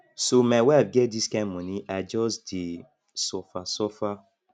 so my wife get dis kind moni i just dey suffer suffer